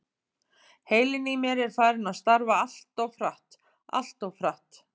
Heilinn í mér er farinn að starfa alltof hratt, alltof hratt.